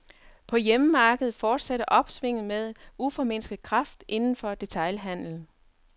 På hjemmemarkedet fortsætter opsvinget med uformindsket kraft indenfor detailhandlen.